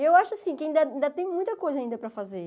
E eu acho, assim, que ainda ainda tem muita coisa ainda para fazer.